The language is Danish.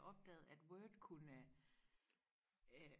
opdagede at Word kunne øh